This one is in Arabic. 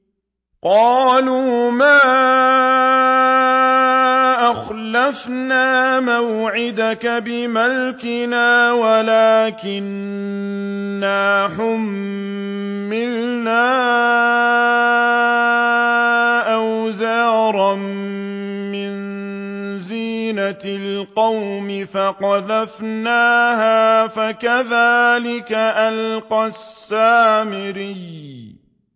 قَالُوا مَا أَخْلَفْنَا مَوْعِدَكَ بِمَلْكِنَا وَلَٰكِنَّا حُمِّلْنَا أَوْزَارًا مِّن زِينَةِ الْقَوْمِ فَقَذَفْنَاهَا فَكَذَٰلِكَ أَلْقَى السَّامِرِيُّ